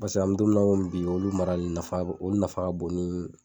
Basa an mi don min na komi bi olu marali nafa o nafa ka bon ni